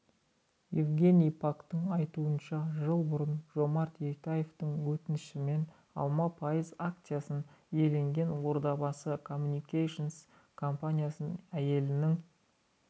евгений пактың айтуынша жыл бұрын жомарт ертаевтың өтінішімен алма пайыз акциясын иеленген ордабасы комьюникейшенс компаниясын әйелінің